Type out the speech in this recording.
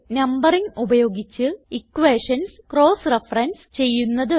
numbering ഉപയോഗിച്ച് equations cross reference ചെയ്യുന്നത്